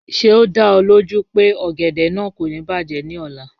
Ṣe o da ọ loju pe ogede naa ko ni bajẹ ni ọla?